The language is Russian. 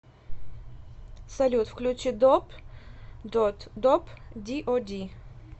салют включи доп дод доп ди о ди